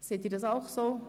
Sehen Sie dies ebenso?